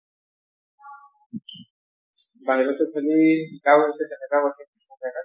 বাহিৰতো খেলি শিকাও হৈছে